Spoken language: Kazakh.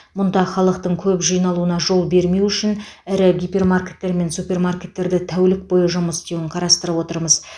мұнда халықтың көп жиналуына жол бермеу үшін ірі гипермаркеттер мен супермаркеттерді тәулік бойы жұмыс істеуін қарастырып отырмыз